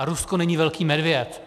A Rusko není velký medvěd.